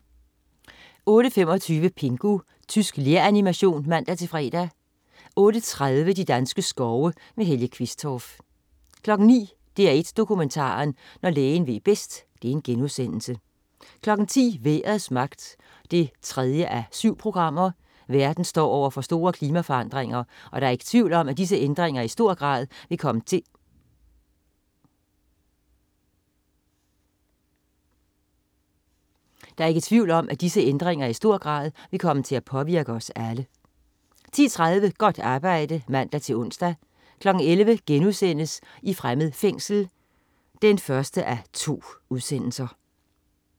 08.25 Pingu. Tysk leranimation (man-fre) 08.30 De danske skove. Helge Qvistorff 09.00 DR1 Dokumentaren. Når lægen ved bedst* 10.00 Vejrets magt 3:7. Verden står over for store klimaforandringer, og der er ikke tvivl om at disse ændringer i stor grad vil komme til at påvirke os alle 10.30 Godt arbejde (man-ons) 11.00 I fremmed fængsel 1:2*